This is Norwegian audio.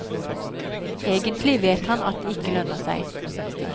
Egentlig vet han at det ikke lønner seg.